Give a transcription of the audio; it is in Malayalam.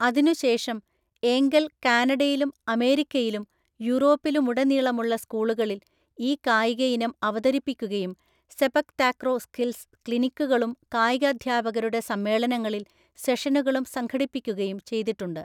അതിനുശേഷം ഏംഗൽ കാനഡയിലും അമേരിക്കയിലും യൂറോപ്പിലുമുടനീളമുള്ള സ്കൂളുകളിൽ ഈ കായികയിനം അവതരിപ്പിക്കുകയും സെപക് താക്രോ സ്കിൽസ് ക്ലിനിക്കുകളും കായികാധ്യാപകരുടെ സമ്മേളനങ്ങളിൽ സെഷനുകളും സംഘടിപ്പിക്കുകയും ചെയ്തിട്ടുണ്ട്.